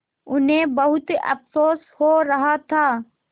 उन्हें बहुत अफसोस हो रहा था